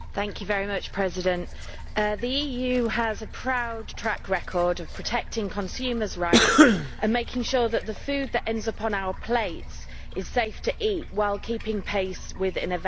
Mr President, the EU has a proud track record of protecting consumers' rights and making sure that the food that ends up on our plates is safe to eat, while keeping pace with innovation.